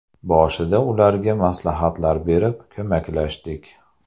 Boshida ularga maslahatlar berib, ko‘maklashdik.